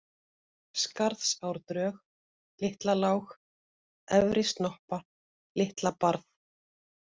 Skarðsárdrög, Litlalág, Efri-Snoppa, Litlabarð